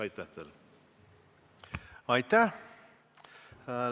Aitäh!